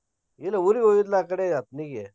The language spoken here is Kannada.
ಇದ್ ಊರಿಗೆ ಒಯ್ಯುದ್ಲಾ ಆಕಡೆ ಅಥಣಿಗೆ.